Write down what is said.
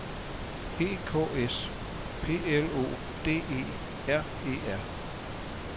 E K S P L O D E R E R